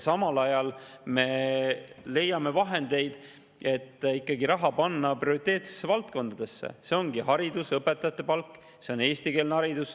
Samal ajal me leiame vahendeid, et panna ikkagi raha prioriteetsetesse valdkondadesse: need ongi haridus, õpetajate palk, eestikeelne haridus.